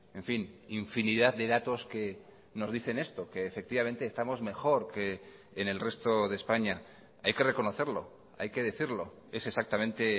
en fin infinidad de datos que nos dicen esto que efectivamente estamos mejor que en el resto de españa hay que reconocerlo hay que decirlo es exactamente